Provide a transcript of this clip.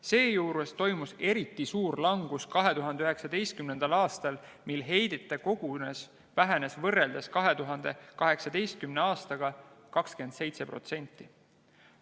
Seejuures toimus eriti suur langus 2019. aastal, mil heidete kogus vähenes võrreldes 2018. aastaga 27%.